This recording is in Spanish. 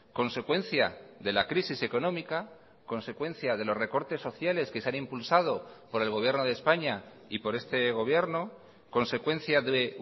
consecuencia de la crisis económica consecuencia de los recortes sociales que se han impulsado por el gobierno de españa y por este gobierno consecuencia de